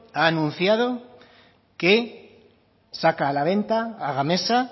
ha anunciado que saca a la venta a gamesa a